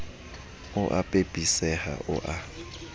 o a pepeseha o a